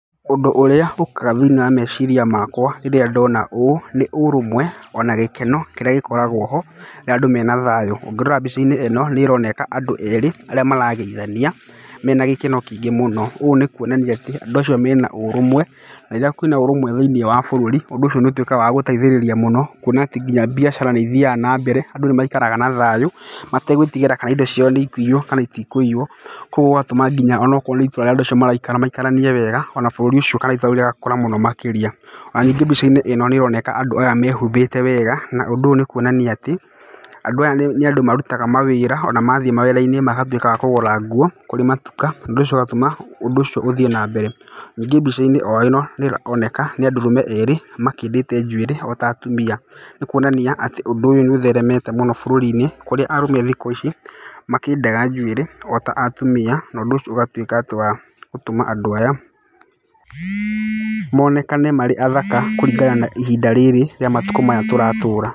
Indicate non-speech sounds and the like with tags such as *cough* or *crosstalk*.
Ũndũ ũrĩa ũkaga thĩinĩ wa meciria makwa rĩrĩa ndona ũũ ,nĩ ũrũmwe ona gĩkeno kĩrĩa gĩkoragwo ho na andũ mena thayũ. Ũngĩrora mbica-inĩ ĩno nĩ ĩroneka andũ erĩ arĩa marageithania mena gĩkeno kĩingĩ mũno. Ũũ nĩ kuonania atĩ andũ acio mena ũrũmwe. Na rĩrĩa kwĩna ũrũmwe thĩinĩ wa bũrũri, ũndũ ũcio nĩ ũtuĩkaga wa gũteithĩrĩria mũno, kuona atĩ nginya biacara nĩ ithiaga na mbere. Andũ nĩ maikaraga na thayũ mategwĩtigĩra kana indo ciao nĩ ikũiywo kana iti kũiywo. Koguo gũgatũma nginya onokorwo nĩ itũra rĩrĩa andũ maraikara maikaranie wega ona bũrũri ũcio *inaudible* ũgakũra mũno makĩria. Ona ningĩ mbica-inĩ ĩno andũ aya nĩ maroneka mehumbĩte wega na ũndũ ũyũ nĩ kuonania atĩ andũ aya nĩ andũ marutaga mawĩra. Ona mathiĩ mawĩra-inĩ magatuĩka a kũgũra nguo kũrĩ matuka. Ũndũ ũcio ũgatũma ũndũ ũcio ũthiĩ na mbere. Ningĩ mbica-inĩ o ĩno nĩ ĩroneka nĩ arũme erĩ makĩndĩte njuĩrĩ ota atumia. Nĩ kuonania atĩ ũndũ ũyũ nĩ ũtheremete mũno bũrũri-inĩ kũrĩa arũme thikũ ici nĩ makĩndaga njuĩrĩ o ta atumia. Na ũndũ ũcio ũgatuĩka wa gũtũma andũ aya monekane marĩ athaka kũringana na ihinda rĩrĩ rĩa matukũ maya tũratũra.